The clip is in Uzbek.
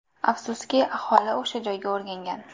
Afsuski, aholi o‘sha joyga o‘rgangan.